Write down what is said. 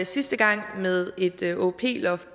sidste gang med et åop loft